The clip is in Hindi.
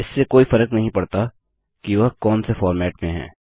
इससे कोई फर्क नहीं पड़ता कि वह कौन से फॉर्मेट में हैं